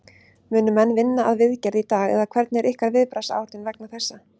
Munu menn vinna að viðgerð í dag eða hvernig er ykkar viðbragðsáætlun vegna þessa?